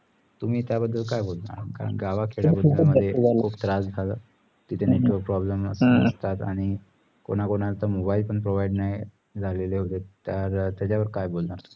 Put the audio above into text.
तुम्ही त्या बदल काय बोलता कारण गावा खेडा मध्ये खुप त्रास झाला तिथं नेमका problem असतात आणि कोणाला कोणाला mobile पण provide नाही झालेले तर त्याच्यावर काय बोलणार